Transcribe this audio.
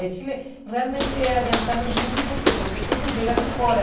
O Chile realmente é adiantado em tudo por que? Porque tudo chega de fora.